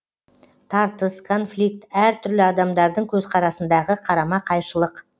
тартыс конфликт әр түрлі адамдардың көзқарасындағы қарама қайшылық